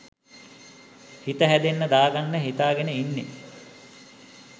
හිත හැදෙන්න දාගන්න හිතාගෙන ඉන්නෙ.